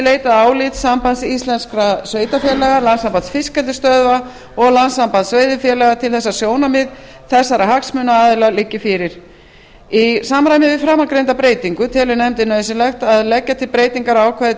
leitað álits sambands íslenskra sveitarfélaga landssambands fiskeldisstöðva og landssambands veiðifélaga til þess að sjónarmið þessara hagsmunaaðila liggi fyrir í samræmi við framangreinda breytingu telur nefndin nauðsynlegt að leggja til breytingar á ákvæði til